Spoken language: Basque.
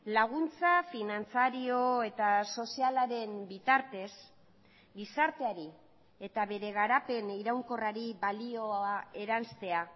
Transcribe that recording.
laguntza finantzario eta sozialaren bitartez gizarteari eta bere garapen iraunkorrari balioa eranstea